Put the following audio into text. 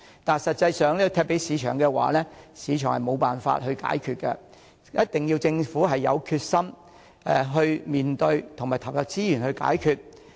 但實際上，如果把問題交給市場，市場是無法解決的，一定要政府有決心去面對，投入資源去解決。